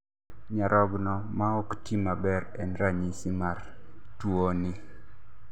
nyarogno maok ti maber en ranyisi mar tuo ni